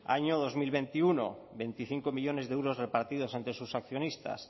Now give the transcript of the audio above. año dos mil veintiuno veinticinco millónes de euros repartidos entre sus accionistas